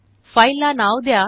फाईलला नाव द्या